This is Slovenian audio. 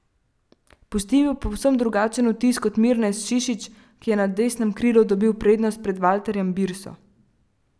Pustil je povsem drugačen vtis kot Mirnes Šišić, ki je na desnem krilu dobil prednost pred Valterjem Birso.